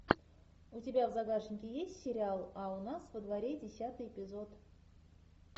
у тебя в загашнике есть сериал а у нас во дворе десятый эпизод